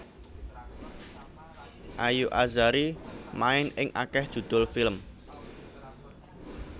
Ayu Azhari main ing akéh judhul film